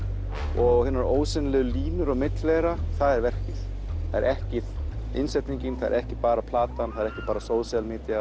og hinar ósýnilegu línur á milli þeirra það er verkið það er ekki innsetningin það er ekki bara platan það er ekki bara social Media